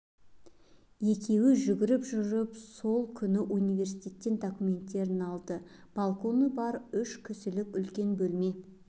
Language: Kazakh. екеуі жүгіріп жүріп сол күні университеттен документін алды балконы бар үш кісілік үлкен бөлме